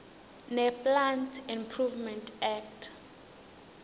neplant improvement act